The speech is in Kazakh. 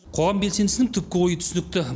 қоғам белсендісінің түпкі ойы түсінікті